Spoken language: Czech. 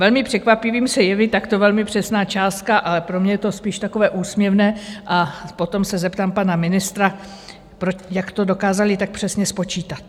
Velmi překvapivým se jeví takto velmi přesná částka, ale pro mě je to spíš takové úsměvné, a potom se zeptám pana ministra, jak to dokázali tak přesně spočítat.